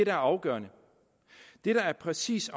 er afgørende det der præcis